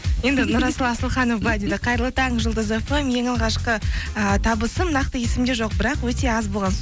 енді нұрасыл асылханов былай дейді қайырлы таң жұлдыз фм ең алғашқы ыыы табысым нақты есімде жоқ бірақ өте аз